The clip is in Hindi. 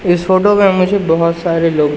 इस फोटो में मुझे बहोत सारे लोग--